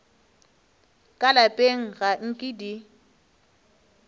ka lapeng ga nke di